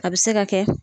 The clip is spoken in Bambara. A bɛ se ka kɛ